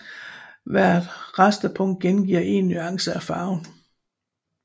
Hvert rasterpunkt gengiver én nuance af farven